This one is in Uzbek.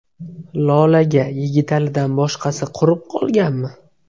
Lolaga Yigitalidan boshqasi qurib qolganmi?